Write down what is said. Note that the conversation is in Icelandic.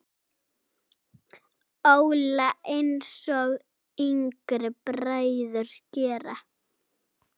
Óla, einsog yngri bræður gera.